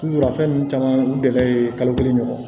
a fɛn ninnu caman u dɛgɛ ye kalo kelen ɲɔgɔn na